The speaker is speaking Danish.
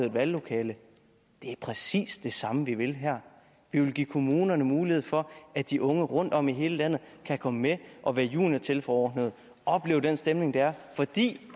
et valglokale det er præcis det samme vi vil her vi vil give kommunerne mulighed for at de unge rundtom i hele landet kan komme med og være juniortilforordnede og opleve den stemning der er fordi